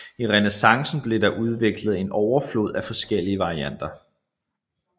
I renæssancen blev der udviklet en overflod af forskellige varianter